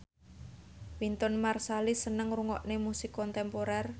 Wynton Marsalis seneng ngrungokne musik kontemporer